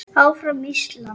Áfram Ísland.